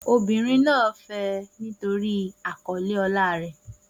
Obìnrin náà fẹ́ ẹ nítorí àkọlé ọlá rẹ̀.